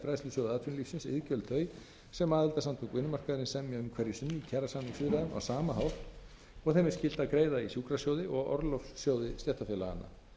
fræðslusjóði atvinnulífsins iðgjöld þau sem aðildarsamtök vinnumarkaðarins semja um hverju sinni í kjarasamningsviðræðum á sama hátt og þeim er skylt að greiða í sjúkrasjóði og orlofssjóði stéttarfélaganna